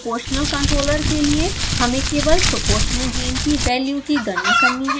proportional controller के लिए हमें केवल proportional gain की वैल्यू की गणना करनी है